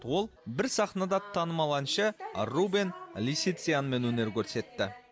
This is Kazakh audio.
ол бір сахнада танымал әнші рубен лисициянмен өнер көрсетті